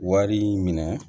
Wari minɛ